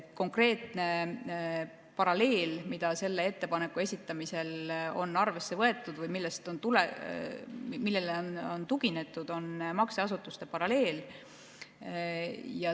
Konkreetne paralleel, mida selle ettepaneku esitamisel on arvesse võetud või millele on tuginetud, on makseasutuste paralleel.